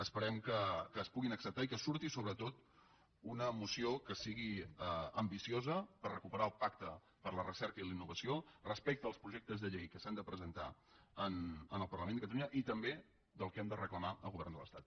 esperem que es puguin acceptar i que surti sobretot una moció que sigui ambiciosa per recuperar el pacte per a la recerca i la innovació respecte als projectes de llei que s’han de presentar en el parlament de catalunya i també del que hem de reclamar al govern de l’estat